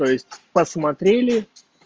то есть посмотрели